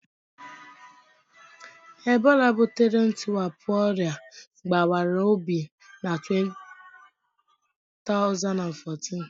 Ebola butere ntiwapụ ọrịa gbawara obi na 2014.